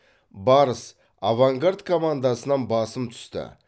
барыс авангард командасынан басым түсті